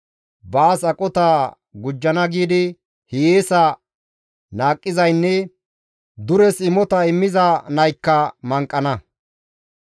Baas aqota gujjana giidi hiyeesa naaqqizaynne duresi imota immizay naykka manqana.